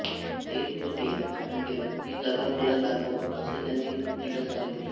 तेल कोठे सांडले ती जागा मला दाखव असे त्यांनी तिला संगितले